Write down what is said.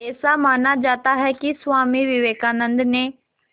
ऐसा माना जाता है कि स्वामी विवेकानंद ने